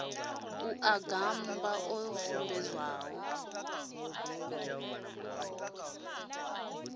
a u gammba o sumbedzwaho